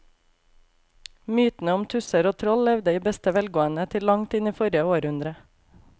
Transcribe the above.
Mytene om tusser og troll levde i beste velgående til langt inn i forrige århundre.